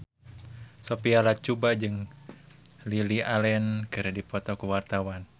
Sophia Latjuba jeung Lily Allen keur dipoto ku wartawan